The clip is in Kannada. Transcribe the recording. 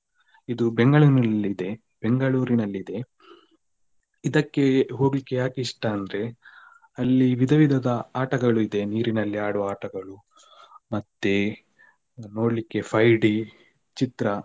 ಇದು Bangalore ನಲ್ಲಿ ಇದೆ Bangalore ನಲ್ಲಿದೆ ಇದಕ್ಕೆ ಹೋಗ್ಲಿಕ್ಕೆ ಯಾಕೆ ಇಷ್ಟ ಅಂದ್ರೆ ಅಲ್ಲಿ ವಿಧ ವಿಧದ ಆಟಗಳು ಇದೆ ನೀರಿನಲ್ಲಿ ಆಡುವ ಆಟಗಳು ಮತ್ತೆ ನೋಡ್ಲಿಕ್ಕೆ five D ಚಿತ್ರ.